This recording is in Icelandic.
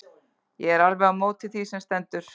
Ég er alveg á móti því sem stendur.